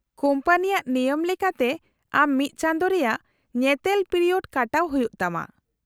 -ᱠᱳᱢᱯᱟᱱᱤᱭᱟᱜ ᱱᱮᱭᱚᱢ ᱞᱮᱠᱟᱛᱮ ᱟᱢ ᱢᱤᱫ ᱪᱟᱸᱫᱳ ᱨᱮᱭᱟᱜ ᱧᱮᱛᱮᱞ ᱯᱤᱨᱤᱭᱳᱰ ᱠᱟᱴᱟᱣ ᱦᱩᱭᱩᱜ ᱛᱟᱢᱟ ᱾